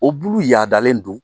O bulu yaadalen don.